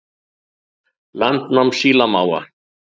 Landnám sílamáfa